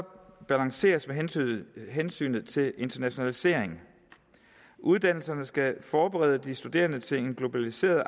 balanceres med hensynet hensynet til internationaliseringen uddannelserne skal forberede de studerende til et globaliseret